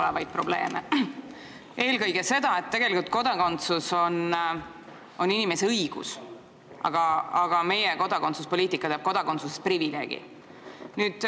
Pean silmas eelkõige seda, et tegelikult kodakondsus on inimese õigus, aga meie kodakondsuspoliitika teeb kodakondsusest privileegi.